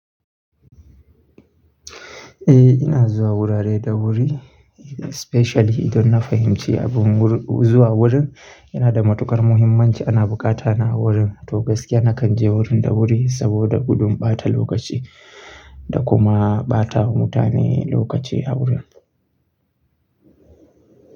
Eh ina zuwa wurare da wuri, especially idan na fahimci abun zuwa wurin yana da matukar muhimmanci ana bukata na a wurin. To gaskiya nakan je wurin da wuri saboda gudun ɓata lokaci da kuma ɓatawa mutane lokaci a wurin.